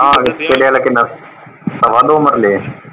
ਆਹੋ ਤੇਰੇ ਵਾਲਾ ਕਿੰਨਾ ਸਵਾ ਦੋ ਮਰਲੇ ਆ?